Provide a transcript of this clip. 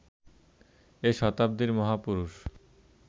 এ শতাব্দীর মহাপুরুষ